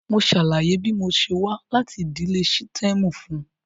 Mo ṣàlàyé bí mo ṣe wá láti ìdílé sítẹ́ẹ̀mù fún un.